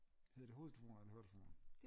Hedder det hovedtelefoner eller høretelefoner?